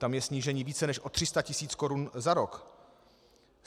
Tam je snížení více než o 300 tisíc korun za rok.